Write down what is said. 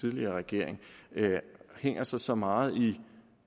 tidligere regering hænger sig så meget i